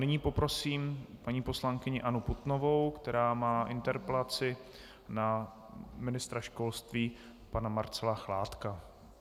Nyní poprosím paní poslankyni Annu Putnovou, která má interpelaci na ministra školství pana Marcela Chládka.